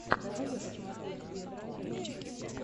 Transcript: давай я посмотрю стритрайдер ютюб